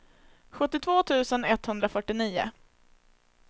sjuttiotvå tusen etthundrafyrtionio